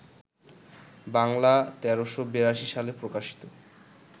বাংলা ১৩৮২ সালে প্রকাশিত